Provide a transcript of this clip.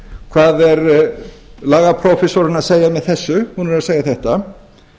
hvað er lagaprófessorinn að segja með þessu hún er að segja þetta